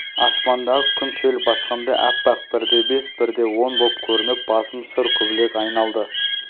аспандағы күн шел басқандай аппақ бірде бес бірде он боп көрініп басым шыр көбелек айналды